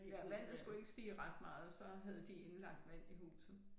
Ja vandet skulle ikke stige ret meget så havde de indlagt vand i huset